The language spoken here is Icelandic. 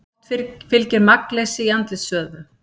Oft fylgir magnleysi í andlitsvöðvum.